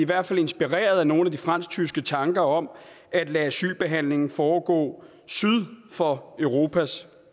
hvert fald inspireret af nogle af de fransk tyske tanker om at lade asylbehandlingen foregå syd for europas